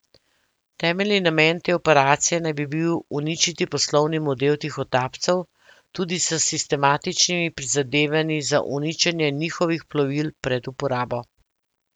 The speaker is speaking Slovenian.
Temeljni namen te operacije naj bi bil uničiti poslovni model tihotapcev, tudi s sistematičnimi prizadevanji za uničenje njihovih plovil pred uporabo.